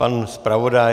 Pan zpravodaj.